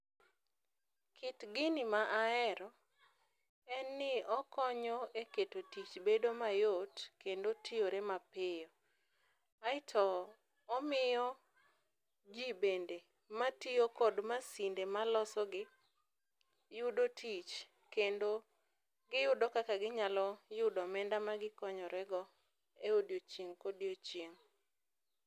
Kit gini ma ahero en ni okonyo e keto tich bedo mayot kendo tiyore mapiyo, aeto omiyo ji bende matiyo kod masinde malosogi yudo tich kendo giyudo kaka ginyalo yudo omenda magikonyorego e i odiochieng' kodiochieng'.